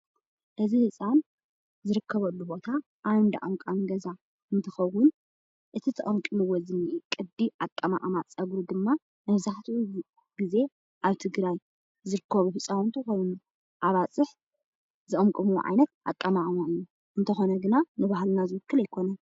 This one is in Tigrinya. እዚ ህፃን ዝርከበሉ ቦታ ኣብ እንዳ ቀምቃሚ ገዛ እንትከውን እቲ ተቀምቂምዎ ዝነሄ ቅዲ ኣቀማቅማ ፀጉሪ ድማ መብዛሕትኡ ግዜ ኣብ ትግራይ ዝርከቡ ህፃውንቲ ኮይኑ ኣባፅሕ ዝቅምቀምዎ ዓይነት አቀማቅመኦም እዩ፡፡ እንተኮነ ግና ንባህልና ዝውክል ኣይኮነን፡፡